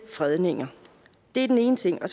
fredninger det er den ene ting